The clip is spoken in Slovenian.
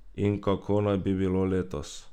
In kako naj bi bilo letos?